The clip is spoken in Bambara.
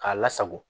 K'a lasago